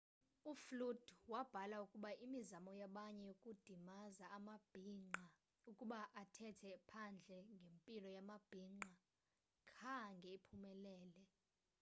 uflute wabhala ukuba imizamo yabanye yokudimaza amabhinqa ukuba athethe phandle ngempilo yamabhinqa khange iphumelele